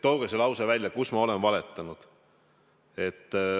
Tooge see lause, kus ma olen valetanud.